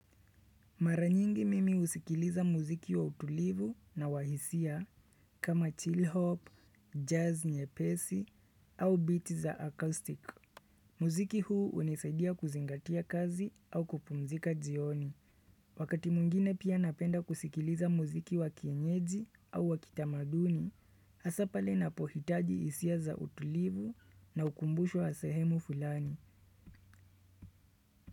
Mara nyingi mimi husikiliza muziki wa utulivu na wa hisia kama chill hop, jazz nyepesi au beat za acoustic. Muziki huu hunisaidia kuzingatia kazi au kupumzika jioni. Wakati mwingine pia napenda kusikiliza muziki wa kienyeji au wa kitamaduni, hasa pale napohitaji hisia za utulivu na ukumbusho wa sehemu fulani.